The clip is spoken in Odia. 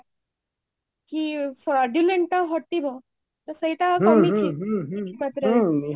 କି fraudulent ଟା ହଟିବ ତ ସେଇଟା କମିଛି କିଛି ମାତ୍ରା ରେ